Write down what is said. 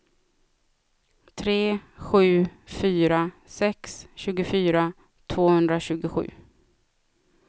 tre sju fyra sex tjugofyra tvåhundratjugosju